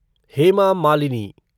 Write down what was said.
Hema Malini